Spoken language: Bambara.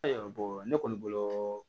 Ayiwa ne kɔni bolo